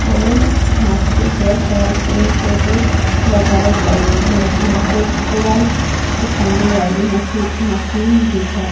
और यहां पे बहुत सारे पेड़ पौधे लगाए गए हैं यहां पे कूड़ा उठाने वाली मशी मशीन भी है।